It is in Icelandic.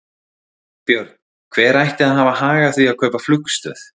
Björn: Hver ætti að hafa hag af því að kaupa flugstöð?